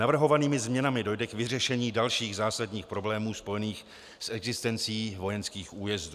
Navrhovanými změnami dojde k vyřešení dalších zásadních problémů spojených s existencí vojenských újezdů.